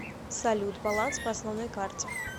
салют баланс по основной карте